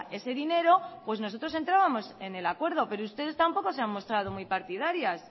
ese dinero pues nosotros entrábamos en el acuerdo pero ustedes tampoco se han mostrado muy partidarias